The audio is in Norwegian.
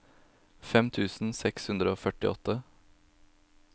fem tusen seks hundre og førtiåtte